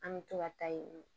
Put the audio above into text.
An bɛ to ka taa yen